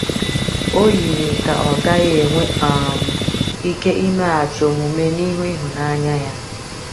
O yiri ka ọ gaghị enwe um ike imeghachi omume n’ihu ịhụnanya ya.